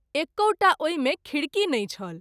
एकौटा ओहि मे खिड़की नहिं छल।